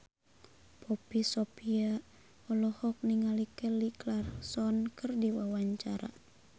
Poppy Sovia olohok ningali Kelly Clarkson keur diwawancara